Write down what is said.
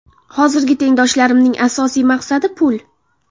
Hozirgi tengdoshlarimning asosiy maqsadi pul.